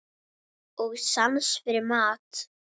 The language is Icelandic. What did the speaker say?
Og sans fyrir mat.